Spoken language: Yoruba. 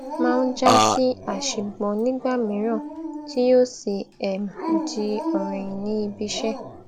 máa ń já sí àṣìgbọ nígbà mìíràn tí yóò sì um di ọrọ ẹyìn ní ibiiṣẹ